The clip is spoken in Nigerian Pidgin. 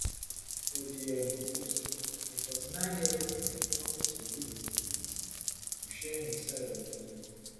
for di um post di forty-nineyearold singer promise to release a statement soon to share im side of di tori